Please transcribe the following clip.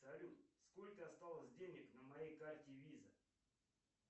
салют сколько осталось денег на моей карте виза